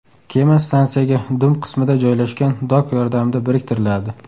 Kema stansiyaga dum qismida joylashgan dok yordamida biriktiriladi.